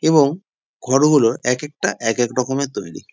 এবং ঘরগুলো একেকটা একেক রকমের তৈরী।